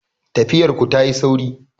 Tafiyar ku ta yi sauri